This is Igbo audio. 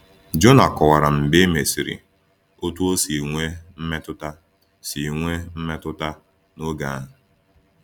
Jona kọwara mgbe e mesịrị otú ọ si nwee mmetụta si nwee mmetụta n’oge ahụ.